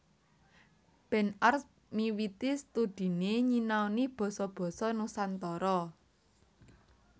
Ben Arps miwiti studhiné nyinaoni basa basa Nusantara